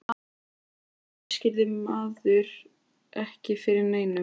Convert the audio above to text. Svona lagað útskýrði maður ekki fyrir neinum.